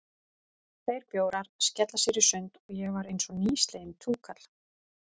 Tveir bjórar, skella sér í sund, og ég var einsog nýsleginn túkall.